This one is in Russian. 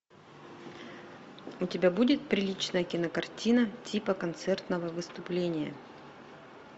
у тебя будет приличная кинокартина типа концертного выступления